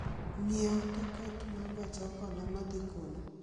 ng'iewo tiket ma gach okoloma dhi kuno